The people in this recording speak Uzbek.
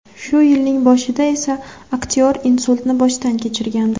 Shu yilning boshida esa aktyor insultni boshdan kechirgandi.